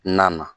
Na na